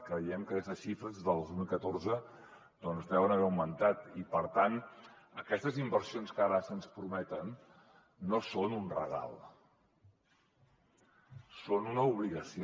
creiem que les xifres del dos mil catorze deuen haver augmentat i per tant aquestes inversions que ara se’ns prometen no són un regal són una obligació